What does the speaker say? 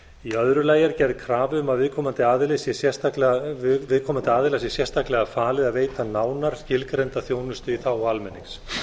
í öðru lagi er gerð krafa um að viðkomandi aðila sé sérstaklega falið að veita nánar skilgreinda þjónustu í þágu almennings